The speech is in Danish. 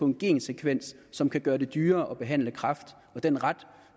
en gensekvens som kan gøre det dyrere at behandle kræft og den ret